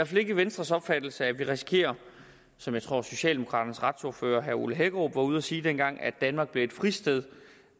fald ikke venstres opfattelse at vi risikerer som jeg tror socialdemokraternes retsordfører herre ole hækkerup var ude at sige dengang at danmark bliver et fristed